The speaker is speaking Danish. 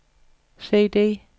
CD